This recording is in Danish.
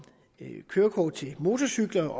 kørekort til motorcykler